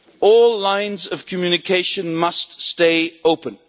All lines of communication must stay open.